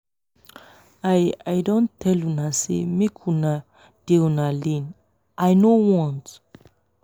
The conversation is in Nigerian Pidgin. i i don tell una say make una dey una lane. i know want.